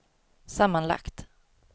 sammanlagt